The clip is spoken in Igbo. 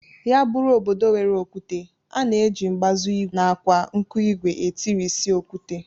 Ya bụrụ obodo nwere okwute, a na-eji mbazụ ìgwè nakwa nkụigwe etirịsị okwute